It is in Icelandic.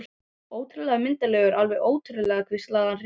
Ótrúlega myndarlegur, alveg ótrúlega hvíslaði hann hrifinn.